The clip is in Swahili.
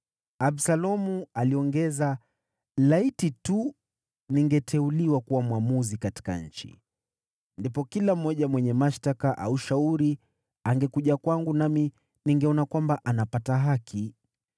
Absalomu aliongeza, “Laiti tu ningeteuliwa kuwa mwamuzi katika nchi. Ndipo kila mmoja mwenye mashtaka au shauri angekuja kwangu nami ningeona kwamba anapata haki.”